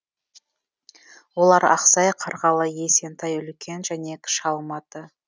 олар ақсай қарғалы есентай үлкен және кіші алматы